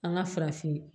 An ka farafin